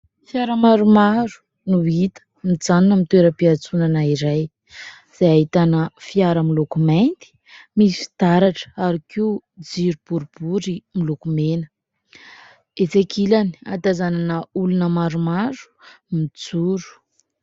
Fiara maromaro no hita mijanona amin'ny toeram-piatsonana iray izay ahitana fiara miloko mainty misy fitaratra ary koa jiro boribory miloko mena. Etsy ankilany ahatazanana olona maromaro mijoro.